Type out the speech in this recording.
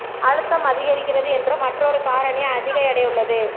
அழுத்தம் அதிகரிக்கிறது என்று மற்றொரு காரணி அதிக எடை உள்ளது